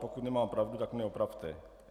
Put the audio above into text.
Pokud nemám pravdu, tak mě opravte.